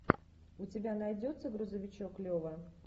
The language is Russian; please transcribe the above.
у тебя найдется грузовичок лева